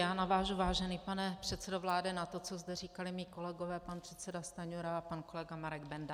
Já navážu, vážený pane předsedo vlády na to, co zde říkali mí kolegové, pan předseda Stanjura a pan kolega Marek Benda.